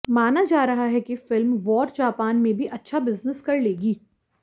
माना जा रहा है कि फिल्म वॉर जापान में भी अच्छा बिजनेस कर लेगी